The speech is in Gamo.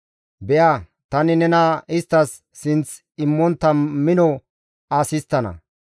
Be7a tani nena isttas sinth immontta mino as histtana.